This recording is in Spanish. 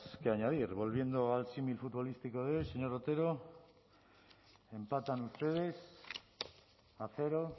que añadir volviendo al símil futbolístico de hoy señor otero empatan ustedes a cero